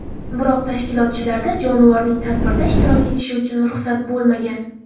Biroq tashkilotchilarda jonivorning tadbirda ishtirok etishi uchun ruxsat bo‘lmagan.